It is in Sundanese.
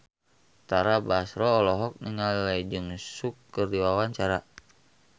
Tara Basro olohok ningali Lee Jeong Suk keur diwawancara